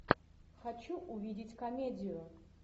хочу увидеть комедию